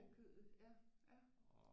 Af kødet ja ja